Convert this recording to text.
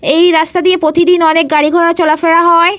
এই রাস্তা দিয়ে প্রতিদিন অনেক গাড়িঘোড়া চলাফেরা হয়।